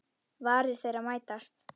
Varir þeirra mætast.